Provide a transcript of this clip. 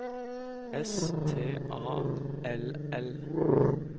S T A L L